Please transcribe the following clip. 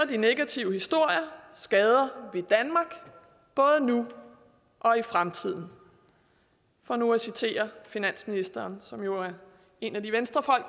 de negative historier skader vi danmark både nu og i fremtiden for nu at citere finansministeren som jo er en af de venstrefolk